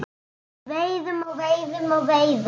Veiðum og veiðum og veiðum.